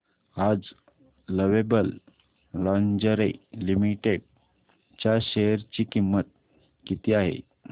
आज lovable lingerie limited च्या share ची किंमत किती आहे